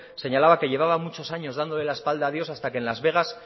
señalaba que llevaba muchos años dándole la espalda a dios hasta que en las vegas